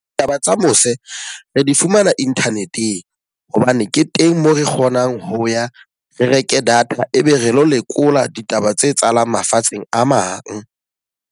Taba tsa mose, re di fumana internet-eng. Hobane ke teng moo re kgonang ho ya re reke data e be re lo lekola ditaba tse etsahalang mafatsheng a mang.